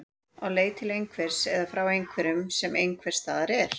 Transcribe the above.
Á leið til einhvers eða frá einhverju sem einhvers staðar er.